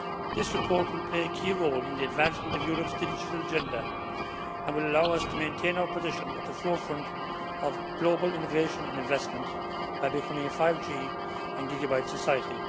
This report will pay a key role in the advancement of Europe's Digital Agenda and will allow us to maintain our position at the forefront of global innovation and investment by becoming a 5G and gigabit society.